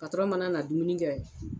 patɔrɔn mana na dumuni kɛ